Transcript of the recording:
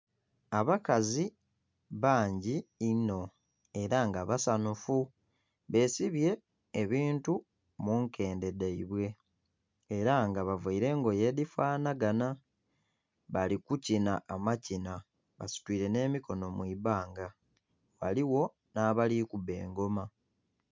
Abakazi bangi inho era nga basanhufu besibye ebintu munkende dhaibwe era nga bavaire engoye edhifanhaganha bali kukinha amakinha basitwire n'emikono mu ibbanga ghaligho n'abali kuuba engoma.